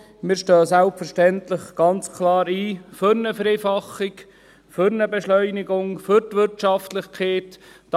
Wir stehen selbstverständlich ganz klar für eine Vereinfachung, für eine Beschleunigung, für die Wirtschaftlichkeit ein.